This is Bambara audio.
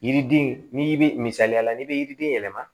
Yiriden n'i bɛ misaliya la n'i bɛ yiriden yɛlɛma